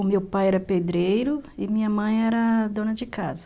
O meu pai era pedreiro e minha mãe era dona de casa.